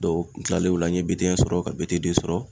n kilalen o la n ye BT sɔrɔ ka BT sɔrɔ.